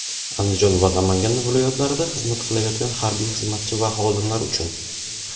Andijon va Namangan viloyatlarida xizmat qilayotgan harbiy xizmatchi va xodimlar uchun;.